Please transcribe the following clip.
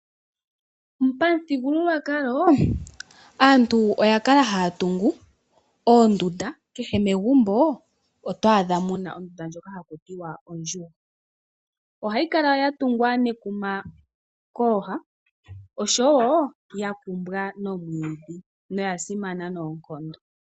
Pamuthigululwakalo aantu oya kala haya tungu oondunda kehe megumbo ohamu tungwa ondunda ndjoka haku tiwa ondjugo. Ohayi kala ya tungwa nekuma kooha oshowo ya kumbwa mowiidhi noya simana noonkondo.